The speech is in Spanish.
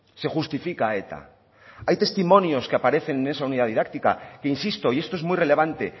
se justifica a eta hay testimonios que aparecen en esa unidad didáctica que insisto y esto es muy relevante